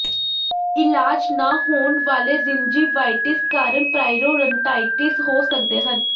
ਇਲਾਜ ਨਾ ਹੋਣ ਵਾਲੇ ਗਿੰਿਜੇਵਾਇਟਿਸ ਕਾਰਨ ਪਰਾਇਰੋਰੰਟਿਾਈਟਿਸ ਹੋ ਸਕਦੇ ਹਨ